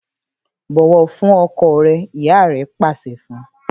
‘Bò̩wò̩ fún o̩ko̩ re̩!’. ìyá re̩ pàs̩e̩ fun